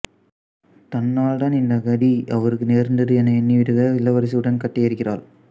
தன்னால் தான் இந்த கதி அவருக்கு நேர்ந்தது என எண்ணி வடுக இளவரசி உடன்கட்டை ஏறுகிறாள்